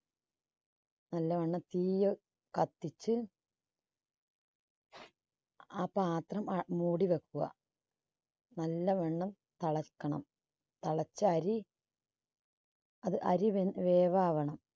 നല്ലവണ്ണം തീയ് കത്തിച്ച് ആ പാത്രം അ മൂടിവെക്കുക. നല്ലവണ്ണം തെളക്കണം. തെളച്ച അരി അത് അരി വേ~വേവാകണം.